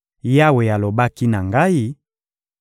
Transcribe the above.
Yawe alobaki na ngai: